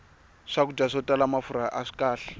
swakudya swo tala mafurha aswi kahle